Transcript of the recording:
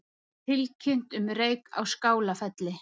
Tilkynnt um reyk á Skálafelli